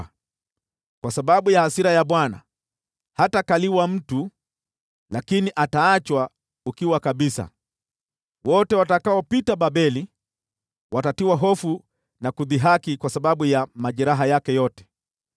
Kwa sababu ya hasira ya Bwana hatakaliwa na mtu, lakini ataachwa ukiwa kabisa. Wote watakaopita Babeli watatiwa hofu na kudhihaki kwa sababu ya majeraha yake yote.